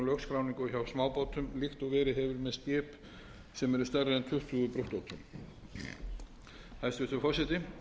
lögskráningu hjá smábátum líkt og verið hefur verið með skip sem eru stærri en tuttugu brúttótonn hæstvirtur forseti ég tel ekki ástæðu